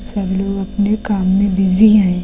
सब लोग अपने काम में बिजी हैं।